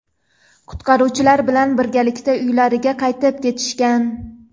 qutqaruvchilar bilan birgalikda uylariga qaytib ketishgan.